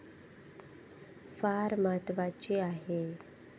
फार महत्वाची आहे.